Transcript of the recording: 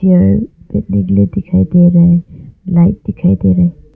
दिखाई दे रहे लाइट दिखाई दे रहे--